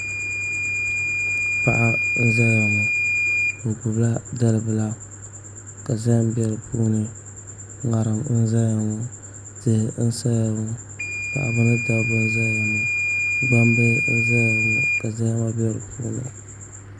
Paɣa n ʒɛya ŋɔ o gbubila dalibila ka zaham bɛ di puuni ŋarim n ʒɛya ŋɔ tihi n saya ŋɔ paɣaba ni dabba n ʒɛya ŋɔ gbambihi n ʒɛya ŋɔ ka zahama bɛ di puuni